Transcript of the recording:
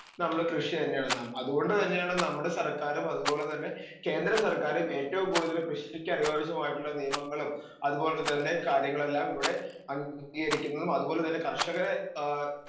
speaker 2 നമ്മള് കൃഷി തന്നെയാണ് നാം അത്കൊണ്ട് തന്നെയാണ് നമ്മടെ സർക്കാരും അത്പോലെ തന്നെ കേന്ദ്ര സർക്കാരും ഏറ്റോം കൂടുതല് കൃഷിക്കനുയോജ്യമായിട്ടുള്ള നിയമങ്ങളും അത്പോലെ തന്നെ കാര്യങ്ങളെല്ലാം ഇവിടെ അംഗീകരിക്കുന്നതും അത് പോലെ തന്നെ കർഷകരെ ഏ